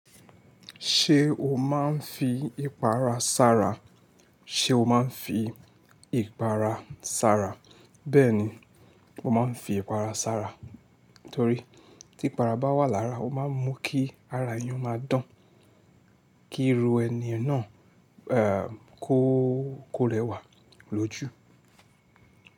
Ṣé o máa ń fi ìpara sára? Ṣé o máa ń fi ìpara sára? Bẹ́ẹ̀ni, mo máa ń fi ìpara sára torí tí para bá wà lára, o máa ń mú kí ara ẹeyan máa dán, kí irú ẹni náà kò rẹwà lójú.